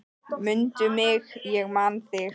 Mundu mig, ég man þig.